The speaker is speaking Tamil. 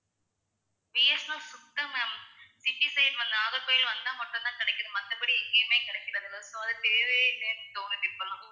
பி. எஸ். என். எல் சுத்தம் ma'am city side வந்து நாகர்கோவில் வந்தா மட்டும் தான் கிடைக்குது மத்தபடி எங்கேயுமே கிடைக்கிறதில்ல so அது தேவையே இல்லைன்னு தோணுது இப்போ எல்லாம்